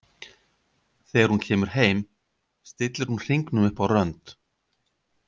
Þegar hún kemur heim stillir hún hringnum upp á rönd.